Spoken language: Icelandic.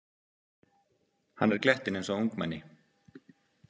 Hann er glettinn eins og ungmenni.